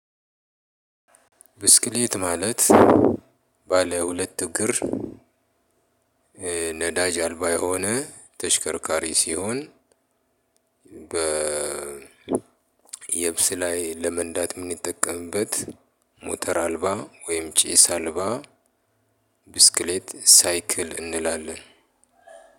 ብስክሌት ማለት ባለ ሁለት እግር ነዳጅ አልባ የሆነ ተሽከርካሪ ሲሆን በ የብስ ላይ ለመንዳት ምንጠቀምበት ሞተር አልባ ወይም ጪስ አልባ። ብስክሌት ሳይክል እንላለን።